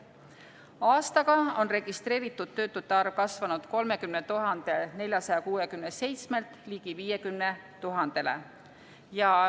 Aastaga on registreeritud töötute arv kasvanud 30 467-lt ligi 50 000-le.